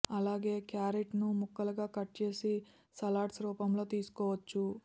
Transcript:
అలాగే క్యారెట్ ను ముక్కలుగా కట్ చేసి సలాడ్స్ రూపంలో తీసుకోవచ్చు